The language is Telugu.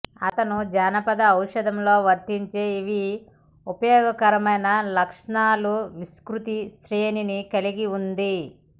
అతను జానపద ఔషధం లో వర్తించే ఇవి ఉపయోగకరమైన లక్షణాలు విస్తృత శ్రేణిని కలిగి ఉంది